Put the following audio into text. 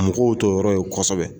Mɔgɔw t'o yɔrɔ ye kosɛbɛ.